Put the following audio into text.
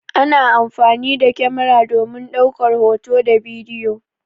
Ana amfani da kyamara domin ɗaukar hoto da bidiyo.